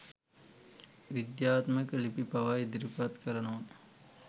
විද්‍යාත්මක ලිපි පවා ඉදිරිපත් කරනවා.